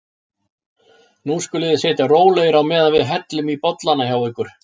Nú skuluð þið sitja rólegir á meðan við hellum í bollana hjá ykkur.